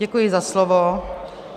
Děkuji za slovo.